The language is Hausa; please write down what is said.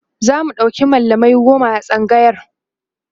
zamu ɗauki mallamai goma a tsangayar